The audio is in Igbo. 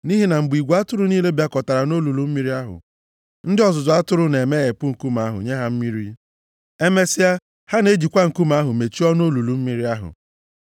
Nʼihi na mgbe igwe atụrụ niile bịazukọtara nʼolulu mmiri ahụ, ndị ọzụzụ atụrụ na-emeghepụ nkume ahụ nye ha mmiri. Emesịa, ha na-ejikwa nkume ahụ mechie ọnụ olulu mmiri ahụ.